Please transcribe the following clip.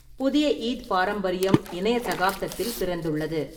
புதிய ஈத் பாரம்பரியம் இணைய சகாப்தத்தில் பிறந்துள்ளது.